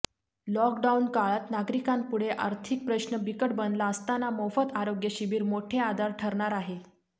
लॉकडाऊनकाळात नागरिकांपुढे आर्थिक प्रश्न बिकट बनला असताना मोफत आरोग्य शिबीर मोठे आधार ठरणार आहे